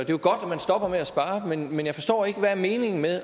jo godt at man stopper med at spare men jeg forstår ikke hvad meningen er